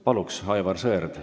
Palun, Aivar Sõerd!